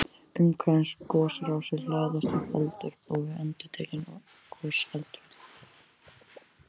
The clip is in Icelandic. Umhverfis gosrásir hlaðast upp eldvörp og við endurtekin gos eldfjöll.